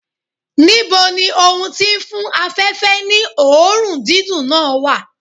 Níbo ni ohun tí ń fún afẹ̀fẹ́ ní òórùn dídùn náà wà?